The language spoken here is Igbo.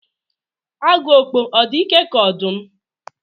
Agu okpo ọ̀ dị ike ka ọdụm?